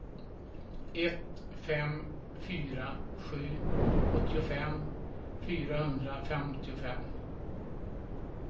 ett fem fyra sju åttiofem fyrahundrafemtiofem